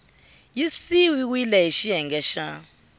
yi siviwile hi xiyenge xa